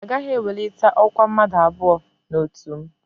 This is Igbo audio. Agaghị ewelite ọkwa mmadụ abụọ n'otu m